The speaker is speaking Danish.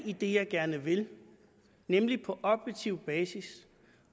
i det jeg gerne vil nemlig på objektiv basis